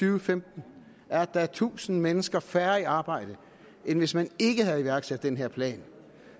og femten er at der er tusind mennesker færre i arbejde end hvis man ikke havde iværksat den her plan